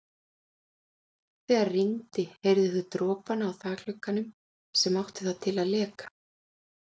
Þegar rigndi heyrðu þau dropana á þakglugganum sem átti það til að leka.